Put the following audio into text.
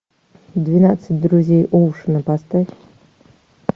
двенадцать друзей оушена поставь